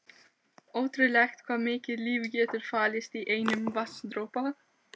Ótrúlegt hvað mikið líf getur falist í einum vatnsdropa.